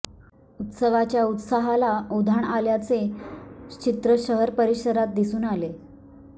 उत्सवाच्या उत्साहाला उधाण आल्याचे चित्र शहर परिसरात दिसून आले